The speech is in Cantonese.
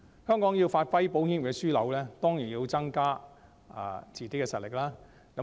香港要發揮保險業的樞紐作用，當然要增加自己的實力。